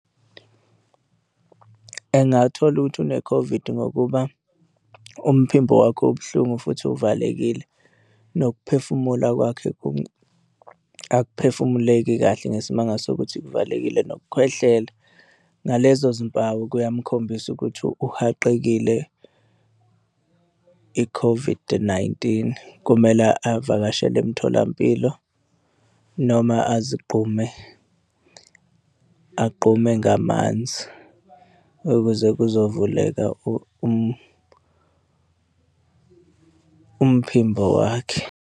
Engathola ukuthi une-COVID, ngokuba umphimbo wakhe ubuhlungu futhi uvalekile, nokuphefumula kwakhe akuphefumuleki kahle ngesimanga sokuthi kuvalekile nokukhwehlela. Ngalezo zimpawu kuyamkhombisa ukuthi uhaqekile i-COVID-19, kumele avakashele emtholampilo noma azigqume, agqume ngamanzi ukuze kuzovuleka umphimbo wakhe.